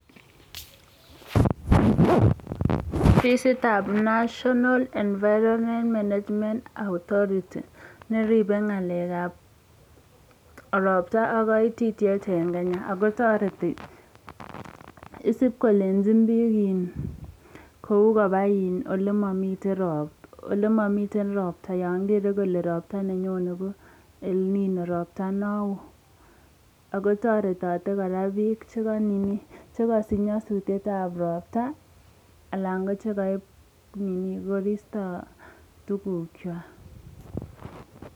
Ofisitab National Environment Management Authority neribe ngalekab ropta ak kaititiet en Kenya. Ago toreti isib kolenjin biiik, kou koba ole momiten ropta yon kere kole ropta nenyon ko El-nino ropta non woo. Ago toretote kora biiik che kosich nyasutietab ropta anan ko chhegoip koristo tugukwak.